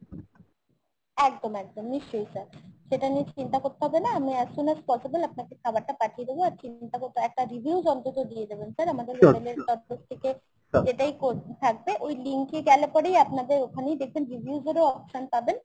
একদম একদম নিশ্চই sir। সেটা নিয়ে চিন্তা করতে হবে না। আমি as soon as possible আপনাকে খাবারটা পাঠিয়ে দেবো। একটা reviews অন্তত দিয়ে দেবেন sir আমাদের থেকে যেটাই থাকবে link এ গেলে পরেই আপনাদের ওখানে দেখবেন reviews এর ও option পাবেন।